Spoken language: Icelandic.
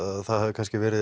það hafi kannski